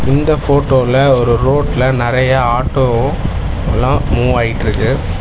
இந்த ஃபோட்டோல ஒரு ரோட்ல நறையா ஆட்டோவோலா மூவாயிட்ருக்கு.